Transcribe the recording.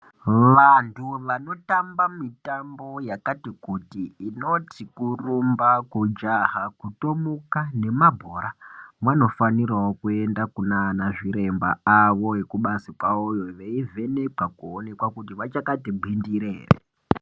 Vanhu vanotamba mitambo yakati kuti inoti kurumba, kujaha kutomuka, nemabhora vanofanirawo kuenda kunaana zviremba awo ekubazi kwawoyo veivhenekwa kuoneka kuti vachakati ngwindiri ere.